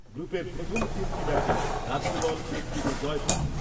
গ্রুপের প্রথম তিনটি ম্যাচে রাজ্য দল একটিতে জয় পায় ।